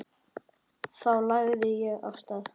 Þá lagði ég af stað.